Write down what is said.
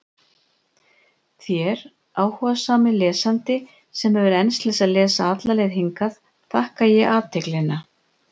Þér, áhugasami lesandi, sem hefur enst til að lesa alla leið hingað, þakka ég athyglina.